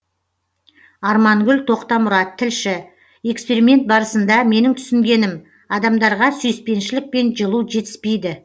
армангүл тоқтамұрат тілші эксперимент барысында менің түсінгенім адамдарға сүйіспеншілік пен жылу жетіспейді